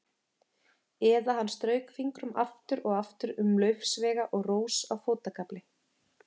Eða hann strauk fingrum aftur og aftur um laufsveiga og rós á fótagafli.